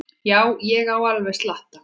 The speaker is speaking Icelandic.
Já, ég á alveg slatta.